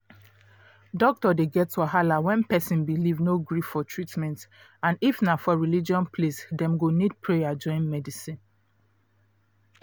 doctor dey get wahala when person belief no gree for treatment and if na for religion place dem go need prayer join medicine